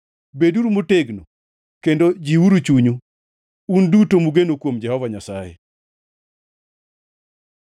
Beduru motegno kendo jiwuru chunyu, un duto mugeno kuom Jehova Nyasaye.